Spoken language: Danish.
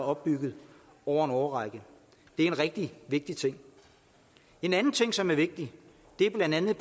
opbygget over en årrække det er en rigtig vigtig ting en anden ting som er vigtig er blandt andet